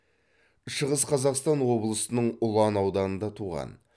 шығыс қазақстан облысының ұлан ауданында туған